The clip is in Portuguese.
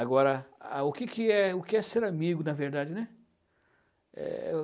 Agora, ah, o que que é o que é ser amigo, na verdade, né? Eh...